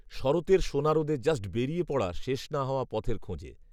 শরতের সোনারোদে জাস্ট বেরিয়ে পড়া শেষ না হওয়া পথের খোঁজে